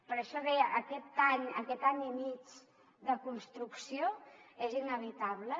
per això deia aquest any i mig de construcció és inevitable